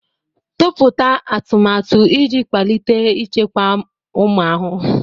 Tụpụta atụmatụ iji kwalite ichekwa ụmụ ahụhụ.